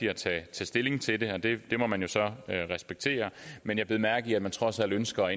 at tage stilling til det det må man jo så respektere men jeg bed mærke i at de trods alt ønsker